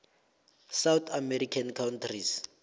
south american countries